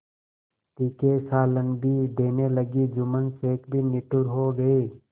तीखे सालन भी देने लगी जुम्मन शेख भी निठुर हो गये